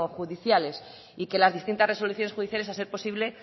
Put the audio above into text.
judiciales y que las distintas resoluciones judiciales a ser posible